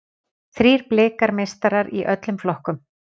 Þrír Blikar meistarar í öllum flokkum